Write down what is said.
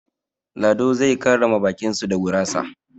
Lado zai karrama baƙin su da gurasa.